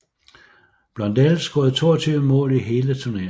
Blondell scorede 22 mål i hele turneringen